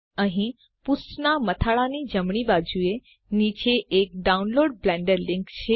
અહીં પુષ્ઠનાં મથાળાંની જમણી બાજુએ નીચે એક ડાઉનલોડ બ્લેન્ડર લીંક છે